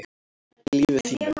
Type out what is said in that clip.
í lífi þínu